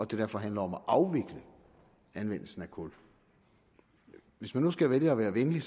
det derfor handler om at afvikle anvendelsen af kul hvis man nu skal vælge at være venlig